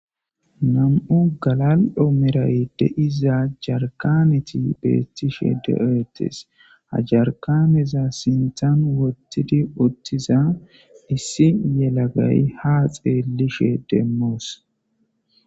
Nam'u galali'o malara diiza jarkannti betishe de'etes ha jarkaneza sinththan woththidi utida issi yelaggay ha xelishe desmos.